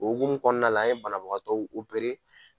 O hokumu kɔnɔna la a ye banabagatɔw opere